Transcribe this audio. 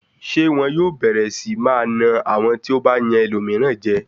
Ṣé wọn yóò bẹ̀rẹ̀ sí máa na àwọn tí ó bá yan ẹlòmíràn jẹ ni?